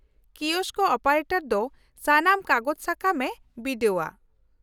-Kiosk operator ᱫᱚ ᱥᱟᱱᱟᱢ ᱠᱟᱜᱚᱡᱽ ᱥᱟᱠᱟᱢᱮ ᱵᱤᱰᱟᱹᱣᱟ ᱾